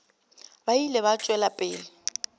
ba ile ba tšwela pele